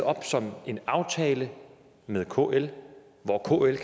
op som en aftale med kl hvor kl